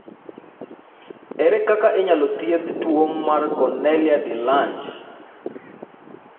Ere kaka inyalo thiedh tuwo mar Cornelia de Lange?